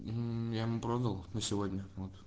я ему продал на сегодня вот